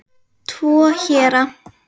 Tvo héra